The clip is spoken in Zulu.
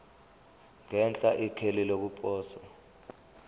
ngenhla ikheli lokuposa